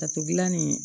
Tatugu gilan nin